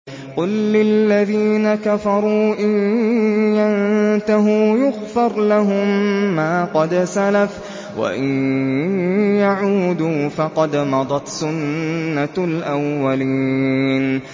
قُل لِّلَّذِينَ كَفَرُوا إِن يَنتَهُوا يُغْفَرْ لَهُم مَّا قَدْ سَلَفَ وَإِن يَعُودُوا فَقَدْ مَضَتْ سُنَّتُ الْأَوَّلِينَ